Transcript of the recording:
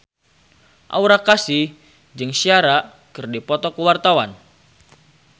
Aura Kasih jeung Ciara keur dipoto ku wartawan